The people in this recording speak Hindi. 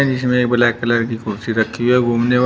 जिसमें ये ब्लैक कलर की कुर्सी रखी है घूमने वा--